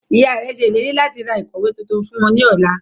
Iyạ rẹ ṣe ileri lati ra ikọwe tuntun fun u ni ọla.